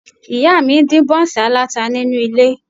Ìyá mi ń dín bọ́ńsì aláta nínú ilé